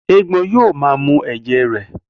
Éégbọn yóò maa mu ẹ̀jẹ̀ rẹ.